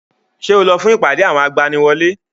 Ṣé o lọ fún ìpàdé àwọn agbaniwọlé?